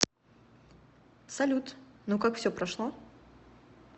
салют ну как все прошло